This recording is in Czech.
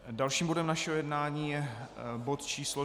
Dalším bodem našeho jednání je bod číslo